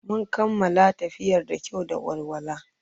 Mun kammala tafiyar da kyau da walwala.